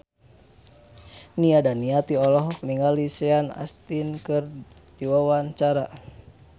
Nia Daniati olohok ningali Sean Astin keur diwawancara